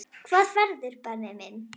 Hvaða ferðir Benni minn?